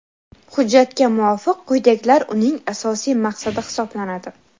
Hujjatga muvofiq quyidagilar uning asosiy maqsadi hisoblanadi:.